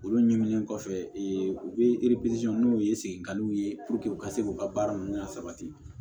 Olu ɲinini kɔfɛ u bɛ n'o ye segin kaw ye u ka se k'u ka baara ninnu lasabati